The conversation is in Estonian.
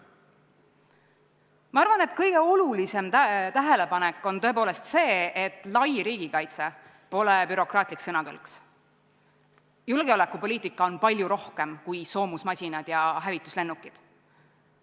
Ma arvan, et kõige olulisem tähelepanek on tõepoolest see, et lai riigikaitse pole bürokraatlik sõnakõlks, julgeolekupoliitika on palju rohkem kui soomusmasinad ja hävituslennukid.